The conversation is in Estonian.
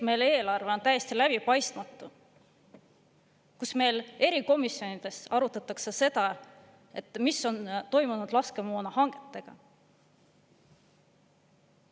Meil on eelarve täiesti läbipaistmatu, meil erikomisjonides arutatakse, mis on toimunud laskemoona hangetega.